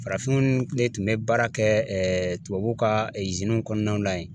Farafinw de tun bɛ baara kɛ tubabu ka kɔnɔnaw la yen.